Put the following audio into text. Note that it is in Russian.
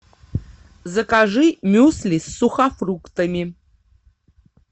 закажи мюсли с сухофруктами